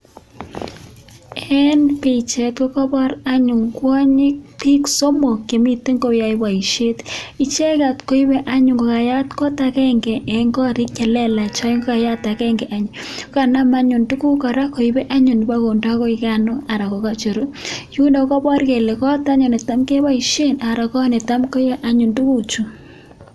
En bichait kokabar anyun kwanyik bik somok Chemiten koyae baishet icheket koibe anyun kakayat kot agenge en korik chelelach akoyat agenge en ak kokanam anyun Koba kondei Koi Gano anan kokacheru akokabar Kole kot anyun netam kebaishen ko kot netam koyae anyun tuguk Chu